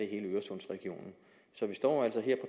hele øresundsregionen så vi står altså her